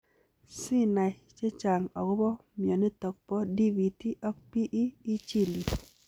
Siinai chechang akopoo mionitok poo DVT ak PE ,ichil yuu.